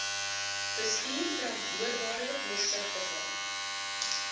bestuur verantwoordbare deursigtige